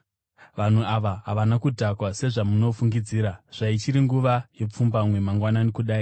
Vanhu ava havana kudhakwa sezvamunofungidzira zvaichiri nguva yepfumbamwe mangwanani kudai!